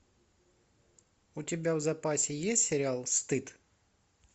у тебя в запасе есть сериал стыд